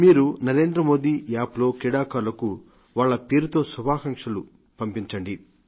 మీరు నరేంద్ర మోదీ యాప్ లో క్రీడాకారులకు వాళ్ల పేరుతో శుభాకాంక్షలు పంపించండి